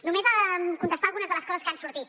només contestar algunes de les coses que han sortit